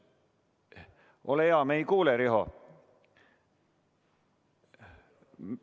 Ole hea, me ei kuule, Riho!